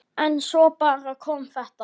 En svo bara kom þetta.